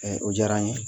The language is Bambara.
o diyara n ye